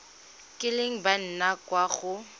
kileng ba nna kwa go